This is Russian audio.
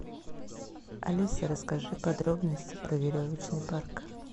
алиса расскажи подробности про веревочный парк